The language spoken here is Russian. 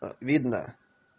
а видно